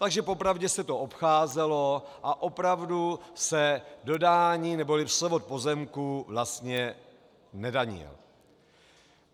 Takže po pravdě se to obcházelo a opravdu se dodání neboli převod pozemku vlastně nedanil.